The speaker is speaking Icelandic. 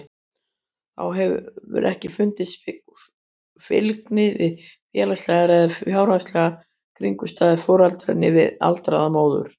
Þá hefur ekki fundist fylgni við félagslegar eða fjárhagslegar kringumstæður foreldra né við aldur móður.